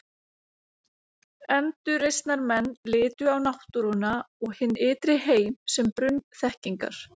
Endurreisnarmenn litu á náttúruna og hinn ytri heim sem brunn þekkingar.